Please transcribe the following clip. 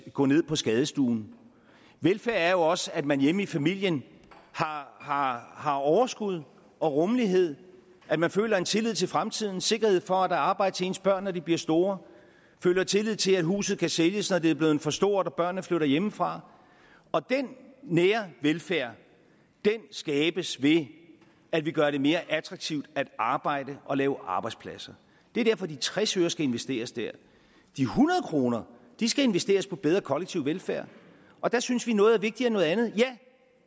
at gå ned på skadestuen velfærd er jo også at man hjemme i familien har har overskud og rummelighed at man føler en tillid til fremtiden sikkerhed for at arbejde til ens børn når de bliver store føler tillid til at huset kan sælges når det er blevet for stort og børnene flytter hjemmefra og den nære velfærd skabes ved at vi gør det mere attraktivt at arbejde og lave arbejdspladser det er derfor de tres øre skal investeres der de hundrede kroner skal investeres i bedre kollektiv velfærd og der synes vi noget er vigtigere end noget andet ja